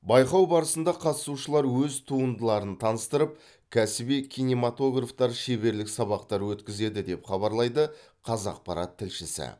байқау барысында қатысушылар өз туындыларын таныстырып кәсіби киноматографтар шеберлік сабақтар өткізеді деп хабарлайды қазақпарат тілшісі